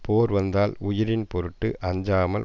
போர் வந்தால் உயிரின் பொருட்டு அஞ்சாமல்